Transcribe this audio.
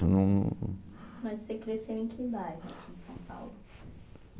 não... Mas você cresceu em que bairro de São Paulo?